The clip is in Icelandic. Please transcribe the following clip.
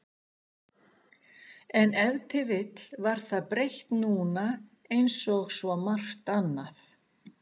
En ef til vill var það breytt núna einsog svo margt annað.